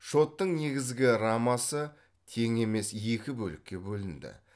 шоттың негізгі рамасы тең емес екі бөлікке бөлінді